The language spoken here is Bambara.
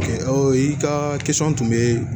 Ɔ i ka tun bɛ